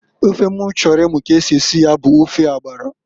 Ofe m chọrọ imu ka esi esi ya bu ofe agbara.